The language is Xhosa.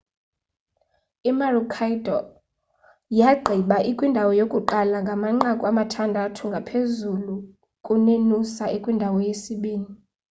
imaroochydore yagqiba ikwindawo yokuqala ngamanqaku amathandathu ngaphezulu kunenoosa ekwindawo yesibinini